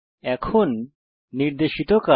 এখন নির্দেশিত কাজ